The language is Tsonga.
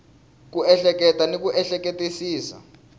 ku ehleketa ni ku ehleketisisa